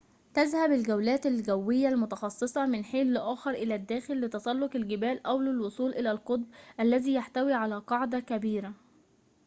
تذهب الجولات الجوية المتخصّصة من حينٍ لآخر إلى الداخل لتسلّق الجبال أو للوصول إلى القطب الذي يحتوي على قاعدةٍ كبيرةٍ